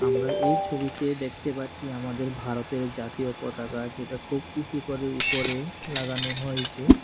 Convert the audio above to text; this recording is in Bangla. আমরা এই ছবিতে দেখতে পারছি আমাদের ভারতের জাতীয় পতাকা যেটা খুব উঁচু করে উপরে লাগানো হয়েছে।